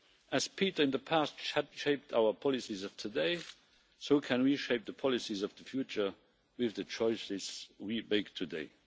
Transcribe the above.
As Peter in the past shaped our policies of today, so can we shape the policies of the future with the choices we make today.